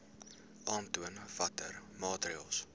aantoon watter maatreëls